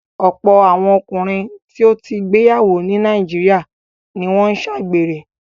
Ọ̀pọ̀ àwọn ọkùnrin tó ti gbéyàwó ní Nàìjíríà ni wọ́n ń ṣàgbèrè.